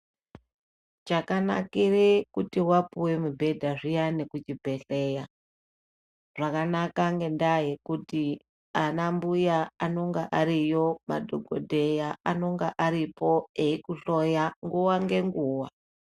Chakanakire kuti wapuwe mubhedha zviyani kuchibhehleya zvakanaka ngendaa yekuti anambuya anonga ariyo, madhokodheya anonga aripo eikuhloya nguwa ngenguwa.